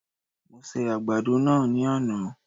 Mo se àgbàdo náà ní àná